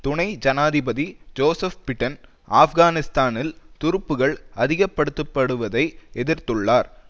துணை ஜனாதிபதி Joseph Biden ஆப்கானிஸ்தானில் துருப்புக்கள் அதிகப்படுத்தப்படுவதை எதிர்த்துள்ளார்